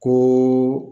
Ko